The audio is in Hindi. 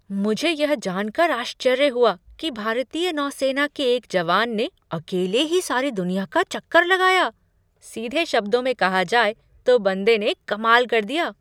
मुझे यह जान कर आश्चर्य हुआ कि भारतीय नौसेना के एक जवान ने अकेले ही सारी दुनिया का चक्कर लगाया। सीधे शब्दों में कहा जाए तो बंदे ने कमाल कर दिया!